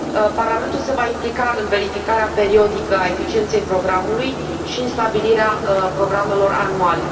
Parlamentul se va implica în verificarea periodică a eficienței programului și în stabilirea programelor anuale.